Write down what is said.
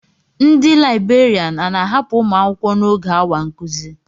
Ndị libèrián a na-ahapụ ụmụ akwụkwọ n'oge awa nkuzi